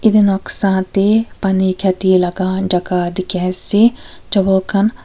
Yate noksa tey pani kheti laga jaka dekhi ase chawal khan.